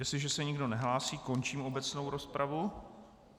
Jestliže se nikdo nehlásí, končím obecnou rozpravu...